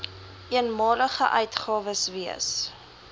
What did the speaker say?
eenmalige uitgawes wees